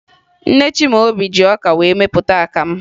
Nne Chimaobi ji ọka wee mepụta akamụ